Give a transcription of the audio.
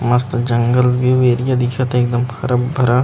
मस्त जंगल view area दिखत थे एकदम हरा भरा